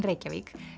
Reykjavík